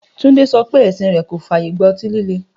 Túndé so̩ pé è̩sìn rè̩ kò fàyè gba o̩tí líle